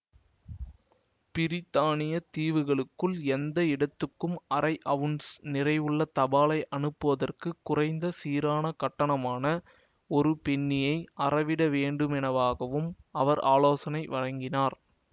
பிரித்தானியத் தீவுகளுக்குள் எந்த இடத்துக்கும் அரை அவுன்ஸ் நிறையுள்ள தபாலை அனுப்புவதற்குக் குறைந்த சீரான கட்டணமான ஒரு பென்னியை அறவிடவேண்டுமெனவும் அவர் ஆலோசனை வழங்கினார்